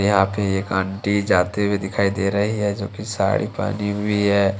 यहां पे एक आंटी जाते हुए दिखाई दे रही है जो की साड़ी पहनी हुई है।